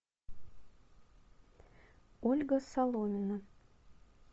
ольга соломина